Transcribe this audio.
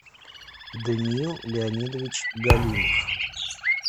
даниил леонидович галимов